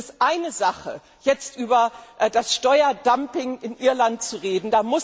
Es ist eine Sache, jetzt über das Steuerdumping in Irland zu reden.